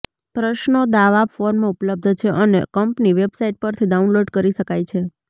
પ્રશ્નો દાવા ફોર્મ ઉપલબ્ધ છે અને કંપની વેબસાઇટ પરથી ડાઉનલોડ કરી શકાય છે